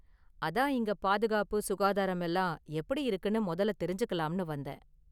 அதான் இங்க பாதுகாப்பு, சுகாதாரம் எல்லாம் எப்படி இருக்குனு முதல்ல தெரிஞ்சுக்கலாம்னு வந்தேன்.